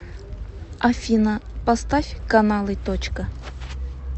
афина поставь каналы точка